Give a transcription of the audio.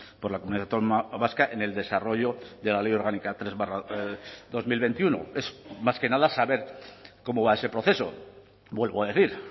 por la comunidad autónoma vasca en el desarrollo de la ley orgánica tres barra dos mil veintiuno es más que nada saber cómo va ese proceso vuelvo a decir